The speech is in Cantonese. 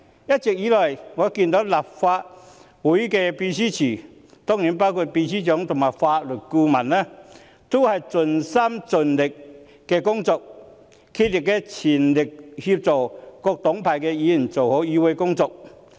一直以來，我看到立法會秘書處，當然包括秘書長和法律顧問，均盡心盡力工作，全力協助各黨派議員做好議會工作。